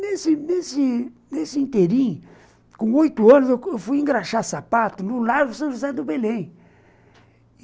Nesse nesse inteirinho, com oito anos, eu fui engraxar sapato no Largo São José do Belém.